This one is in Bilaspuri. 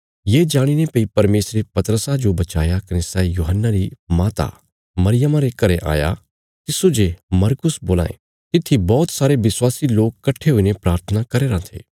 ये जाणीने भई परमेशरे पतरसा जो बचाया कने सै यूहन्ना री माता मरियमा रे घरें आया तिस्सो जे मरकुस बोलां ये तित्थी बौहत सारे विश्वासी लोक कट्ठे हुईने प्राथना करया राँ थे